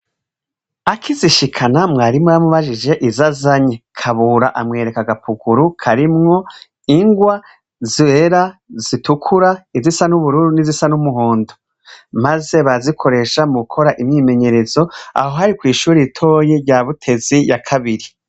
Akizishikana mwarimu yamubajije izazanye KABURA amwereka agapukuru karimwo ingwa zera, zitukura, izisa n'ubururu n'izisa n'umuhondo maze barazikoresha mugukora imyimenyerezo aho hari kwishure ritoyi rya Butezi ya kabiri.